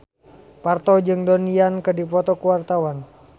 Parto jeung Donnie Yan keur dipoto ku wartawan